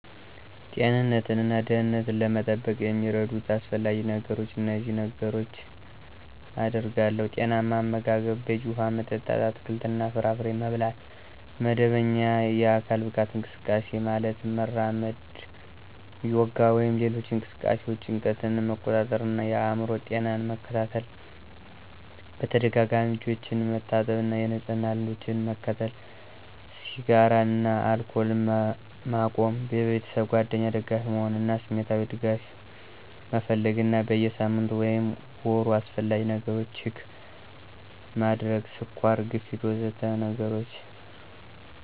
ጤንነትን እና ደህንነትን ለመጠበቅ የሚረዱት አስፈላጊ ነገሮች እነዚህን ነገሮች አደርጋለሁ። ⦁ ጤናማ አመጋገብ፣ በቂ ውሃ መጠጥ፣ አትክልትና ፍራፍሬ መብላት ⦁ መደበኛ የአካል ብቃት እንቅስቃሴ (ማለትም መራመድ፣ ዮጋ ወይም ሌሎች እንቅስቃሴዎች) ⦁ ጭንቀትን መቆጣጠር እና የአእምሮ ጤናን መከታተል ⦁ በተደጋጋሚ እጆችን መታጠብ እና የንጽህና ልምዶችን መከተል ⦁ ስጋራን እና አልኮልን መቆም ⦁ በቤተሰብ እና ጓደኞች ደጋፊ መሆን እና ስሜታዊ ድጋፍ መፈለግ እና በየ ሳምንቱ ወይም ወሩ አስፈላጊ ነገሮች ችክ ማድረግ (ስኳር፣ ግፊት... ወዘተ ነገሮችን)